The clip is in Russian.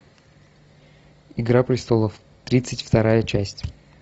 игра престолов тридцать вторая часть